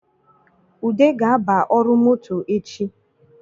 Ude ga-aba ọrụ moto echi